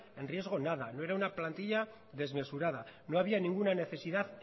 en riesgo nada no era una plantilla desmesurada no había ninguna necesidad